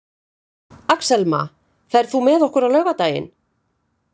Axelma, ferð þú með okkur á laugardaginn?